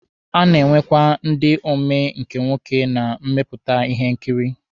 A na-enwekwa ndi omee nke nwoke na mmepụta ihe nkiri.